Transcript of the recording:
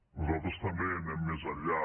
nosaltres també anem més enllà